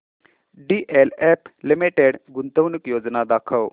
DLF limited गुंतवणूक योजना दाखव